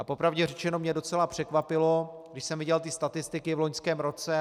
A po pravdě řečeno mě docela překvapilo, když jsem viděl statistiky v loňském roce.